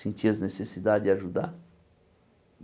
sentir as necessidades e ajudar.